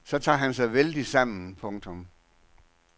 Så tager han sig vældigt sammen. punktum